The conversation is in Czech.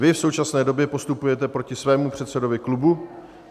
Vy v současné době postupujete proti svému předsedovi klubu.